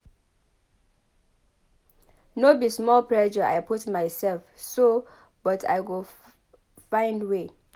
No be small pressure I put mysef so but I go find way.